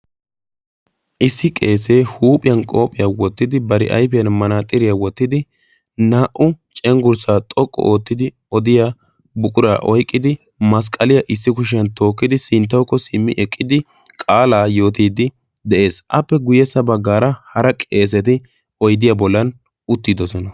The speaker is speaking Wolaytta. issi qeesee huuphiyan qoophiyaa wottidi bari aifiyan manaaxiriyaa wottidi naa77u cenggurssaa xoqqu oottidi odiya buquraa oyqqidi masqqaliyaa issi kushiyan tookkidi sinttawukko simmi eqqidi qaalaa yootiiddi de7ees appe guyyessa baggaara hara qeeseti oyddiyaa bollan uttiidosona.